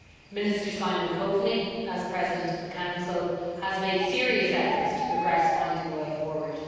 Minister Simon Coveney, as President in Office of the Council, has made serious efforts to progress finding a way forward.